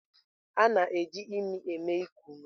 A na-eji imi eme iku ume.